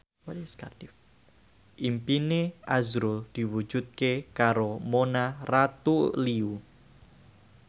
impine azrul diwujudke karo Mona Ratuliu